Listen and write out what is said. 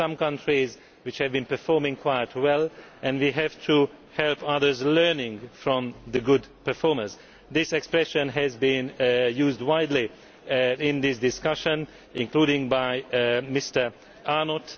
There are some countries which have been performing quite well and we have to help others learn from the good performers this expression has been used widely in this discussion, including by Mr Arnott.